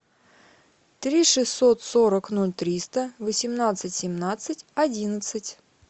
три шестьсот сорок ноль триста восемнадцать семнадцать одиннадцать